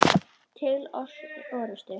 Til orustu!